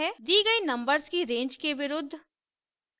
दी गयी नंबर्स की रेंज के विरुद्ध